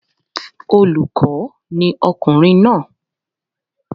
Olùkọ́ ni ọkùnrin náà